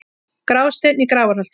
Grásteinn í Grafarholti